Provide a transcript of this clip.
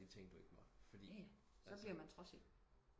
De ting du ikke måtte fordi altså